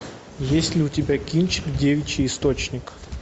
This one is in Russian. есть ли у тебя кинчик девичий источник